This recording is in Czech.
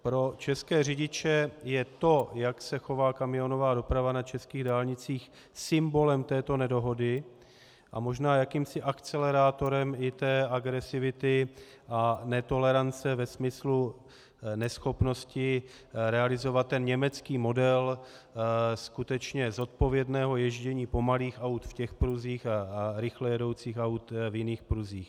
Pro české řidiče je to, jak se chová kamionová doprava na českých dálnicích, symbolem této nedohody a možná jakýmsi akcelerátorem i té agresivity a netolerance ve smyslu neschopnosti realizovat ten německý model skutečně zodpovědného ježdění pomalých aut v těch pruzích a rychle jedoucích aut v jiných pruzích.